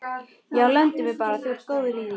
Já, lemdu mig bara, þú ert góður í því!